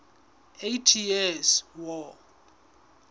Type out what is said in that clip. eighty years war